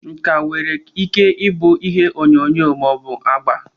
nka nwere ike ịbụ ihe onyonyo ma ọ bụ agba.